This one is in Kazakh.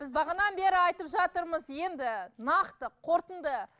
біз бағанадан бері айтып жатырмыз енді нақты қортынды